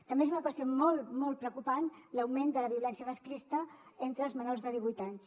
també és una qüestió molt molt preocupant l’augment de la violència masclista entre els menors de divuit anys